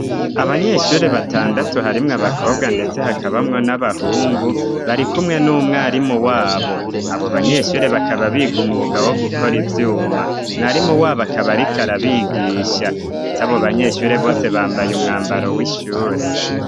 Abanyeshure batandatu harimwo abakobwa, ndetse hakabamwo n'abahungu bari kumwe n'umwarimu wabo abo banyeshure bakaba biga umwugawo gukora ivyuma mwarimu wabo akabarika arabigisha, ndetse abo banyeshure bose bambaye umwambaro w'ishure.